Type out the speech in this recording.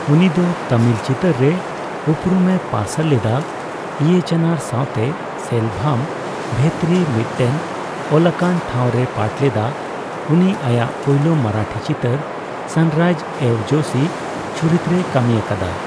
ᱩᱱᱤ ᱫᱚ ᱛᱟᱢᱤᱞ ᱪᱤᱛᱟᱹᱨ ᱨᱮ ᱩᱯᱨᱩᱢ ᱮ ᱯᱟᱨᱥᱟᱞ ᱞᱮᱫᱟ ᱤᱭᱟᱪᱟᱱᱟᱨ ᱥᱟᱣᱛᱮ ᱥᱮᱞᱵᱷᱟᱢ/ᱵᱷᱮᱛᱨᱤ ᱢᱤᱫᱴᱮᱱ ᱚᱞᱟᱠᱟᱱ ᱴᱷᱟᱣ ᱨᱮᱭ ᱯᱟᱴ ᱞᱮᱫᱟ, ᱩᱱᱤ ᱟᱭᱟᱜ ᱯᱳᱭᱞᱳ ᱢᱟᱨᱟᱴᱷᱤ ᱪᱤᱛᱟᱹᱨ ᱥᱟᱱᱨᱟᱭᱤᱡᱼᱮᱣ ᱡᱳᱥᱤ ᱪᱩᱨᱤᱛ ᱨᱮᱭ ᱠᱟᱹᱢᱤ ᱟᱠᱟᱫᱟ ᱾